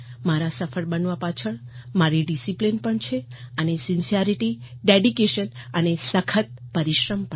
મારા સફળ બનવા પાછળ મારી ડિસિપ્લિન પણ છે અને સિન્સરિટી ડેડિકેશન અને સખત પરિશ્રમ પણ